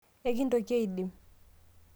ekintoki aidim